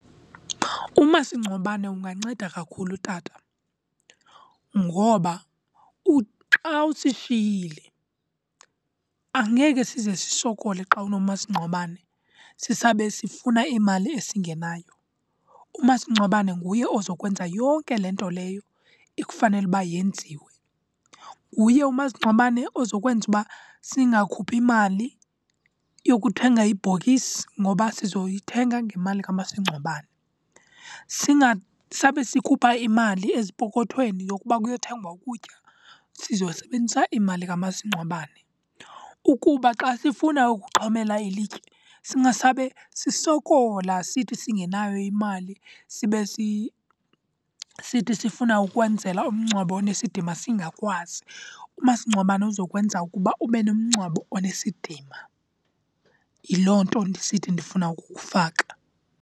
Umasingcwabane unganceda kakhulu, tata, ngoba xa usishiyile angeke size sisokole xa unomasingcwabane sisabe sifuna imali esingenayo. Umasingcwabane nguye ozawukwenza yonke le nto leyo ekufanele uba yenziwe. Nguye umasingcwabane ozawukwenza uba singakhuphi mali yokuthenga ibhokisi ngoba sizoyithengisa ngemali kamasingcwabane. Singasabe sikhupha imali ezipokothweni yokuba kuyothengwa ukutya, sizosebenzisa imali kamasingcwabane. Ukuba xa sifuna ukuxhomela ilitye singasabe sisokola sithi singenayo imali sibe sithi sifuna ukwenzela umngcwabo onesidima singakwazi. Umasingcwabane uzawukwenza ukuba ube nomgcwabo onesidima, yiloo nto ndisithi ndifuna ukukufaka.